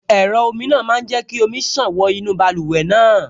Ẹ̀rọ omi náà máa jẹ́ kí omi ṣàn wọ inú báluwẹ̀ náà